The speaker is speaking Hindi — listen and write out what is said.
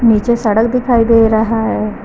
नीचे सड़क दिखाई दे रहा है।